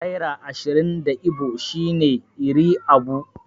Naira ashirin da Igbo shine 'Iri abuo'.